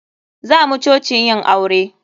Zamu coci yin aure.